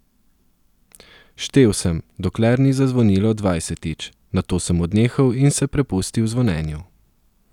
Štel sem, dokler ni zazvonilo dvajsetič, nato sem odnehal in se prepustil zvonjenju.